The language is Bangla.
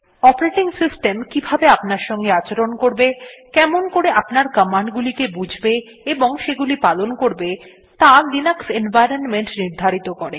অপারেটিং সিস্টেম কিভাবে আপনার সঙ্গে আচরণ করবে কেমন করে আপনার কমান্ড গুলিকে বুঝবে এবং সেগুলি পালন করবে ত়া লিনাক্স এনভাইরনমেন্ট নির্ধারিত করে